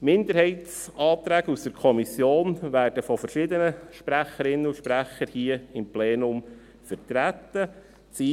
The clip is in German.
Die Minderheitsanträge aus der Kommission werden von verschiedenen Sprecherinnen und Sprechern hier im Plenum vertreten werden.